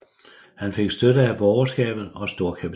Han fik støtte af borgerskabet og storkapitalen